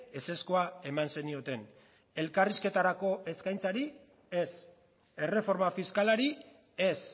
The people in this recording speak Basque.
ezezkoa eman zenioten elkarrizketarako eskaintzari ez erreforma fiskalari ez